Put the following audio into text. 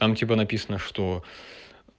там типа написано что